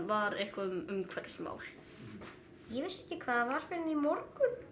var eitthvað um umhverfismál ég vissi ekki hvað það var fyrr en í morgun